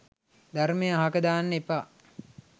ධර්මය අහක දාන්න එපා